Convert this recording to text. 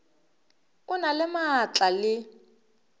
o na le maatla le